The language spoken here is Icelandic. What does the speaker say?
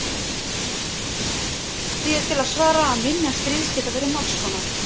því er til að svara að minjar stríðs geta verið margs konar